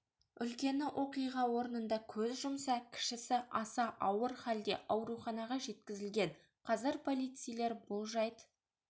үлкені оқиға орнында көз жұмса кішісі аса ауыр халде ауруханаға жеткізілген қазір полицейлер бұл жайт